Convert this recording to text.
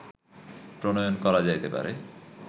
প্রণয়ন করা যাইতে পারে